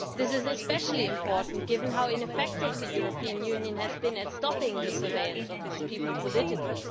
This is especially important given how ineffective the European Union has been at stopping the surveillance of its people politically.